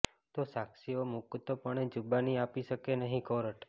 તો સાક્ષીઓ મુકતપણે જૂબાની આપી શકે નહીંઃ કોર્ટ